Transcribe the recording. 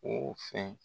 O fɛn